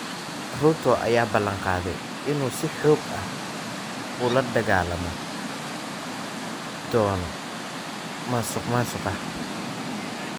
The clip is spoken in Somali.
Ruto ayaa ballan qaaday in uu si xoog ah ula dagaalami doono musuqmaasuqa.